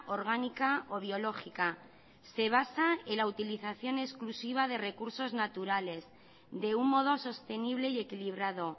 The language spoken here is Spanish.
orgánica o biológica se basa en la utilización en exclusiva de recursos naturales de un modo sostenible y equilibrado